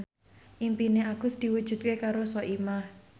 impine Agus diwujudke karo Soimah